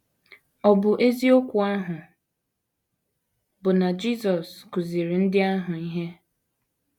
Ọ bụ eziokwu ahụ bụ́ na Jisọs kụziiri ndị ahụ ihe.